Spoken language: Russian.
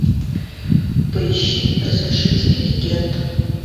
поищи разрушители легенд